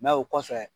o kɔfɛ